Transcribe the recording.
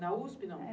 Na USP, não?